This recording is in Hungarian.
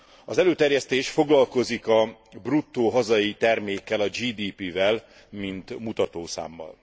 Az előterjesztés foglalkozik a bruttó hazai termékkel, a GDP vel, mint mutatószámmal.